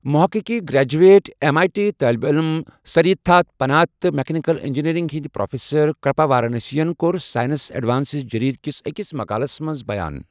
محققی graduate M I T طٲلبہِ علم سریداتھ پنات تہٕ مکینیکل انجینئرنگ ہٕنٛدۍ پروفیسر کرپا وارانسی یَن کوٚر سائنس ایڈوانسٕز جریدکِس أکِس مُقالمَس منٛز بیان